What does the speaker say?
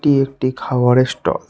এটি একটি খাবারের স্টল ।